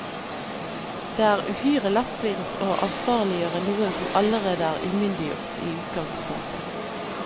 Det er uhyre lettvint å ansvarliggjøre noen som allerede er umyndiggjort i utganspunktet.